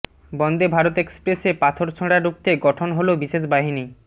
বন্দে ভারত এক্সপ্রেসে পাথর ছোঁড়া রুখতে গঠন হল বিশেষ বাহিনী